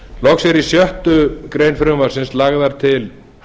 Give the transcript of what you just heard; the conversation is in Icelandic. loks eru í sjöttu greinar frumvarpsins lagðar til